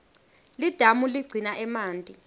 lidamu ligcina emanti